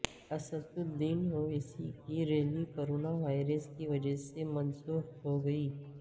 اسدالدین اویسی کی rally corona virus کی وجہ سے منسوخ ہوگئی